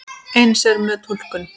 Eins er með túlkun.